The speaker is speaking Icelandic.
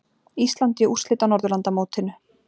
Ísland í úrslit á Norðurlandamótinu